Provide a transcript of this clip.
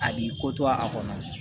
A b'i ko to a kɔnɔ